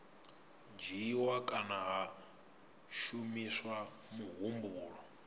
dzhiiwa kana ha shumiswa muhumbulo